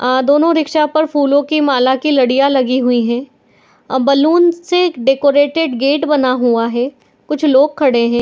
आ दोनों रिक्शा पर फूलो कि माला कि लड़िया लगी हुई है | आ बैलून से डेकोरेटेड गेट बना हुआ है कुछ लोग खड़े हैं।